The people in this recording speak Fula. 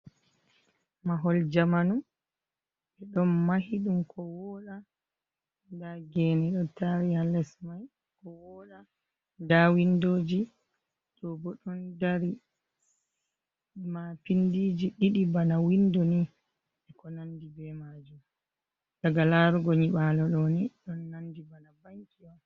Mahol jamanu, ɗon Mahi ɗum ko woɗa nda gene ɗo tari ha lesmai ko woɗa, nda windoji ɗobo ɗon dari. Mapindiji ɗiɗi bana Windo ni e ko nandi be majum. daga larugo Nyiɓalo ɗoni ɗon nandi bana Banki'on.